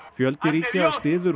fjöldi ríkja styður